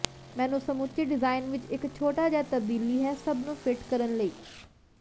ਮੈਨੂੰ ਸਮੁੱਚੇ ਡਿਜ਼ਾਇਨ ਵਿੱਚ ਇੱਕ ਛੋਟਾ ਜਿਹਾ ਤਬਦੀਲੀ ਹੈ ਸਭ ਨੂੰ ਫਿੱਟ ਕਰਨ ਲਈ